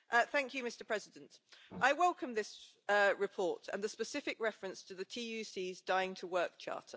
Mr President, I welcome this report and the specific reference to the TUC's Dying to Work Charter.